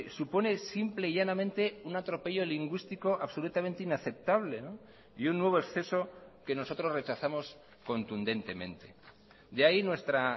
supone simple y llanamente un atropello lingüístico absolutamente inaceptable y un nuevo exceso que nosotros rechazamos contundentemente de ahí nuestra